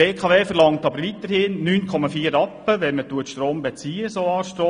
Die BKW verlangt jedoch weiterhin 9,4 Rappen, wenn man Solarstrom bezieht.